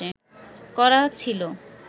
করা ছিল